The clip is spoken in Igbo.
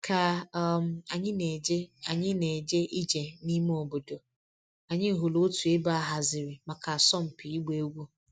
Ka um anyị na-eje anyị na-eje ije n'ime obodo, anyị hụrụ otu ebe a haziri maka asọmpi ịgba egwu.